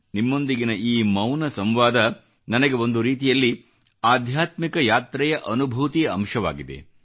ನಿಮ್ಮೊಂದಿಗಿನ ಈ ಮೌನ ಸಂವಾದ ನನಗೆ ಒಂದು ರೀತಿಯಲ್ಲಿ ಆಧ್ಯಾತ್ಮಿಕ ಯಾತ್ರೆಯ ಅನುಭೂತಿಯ ಅಂಶವಾಗಿದೆ